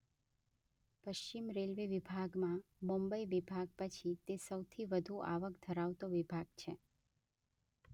પશ્ચિમ રેલ્વે વિભાગમાં મુંબઈ વિભાગ પછી તે સૌથી વધુ આવક ધરાવતો વિભાગ છે.